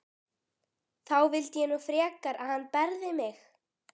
Þá vildi ég nú frekar að hann berði mig.